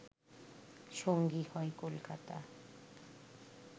সঙ্গী হয় কলকাতা